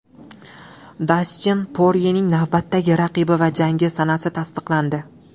Dastin Poryening navbatdagi raqibi va jangi sanasi tasdiqlandi.